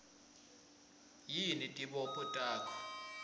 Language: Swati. yini tibopho takho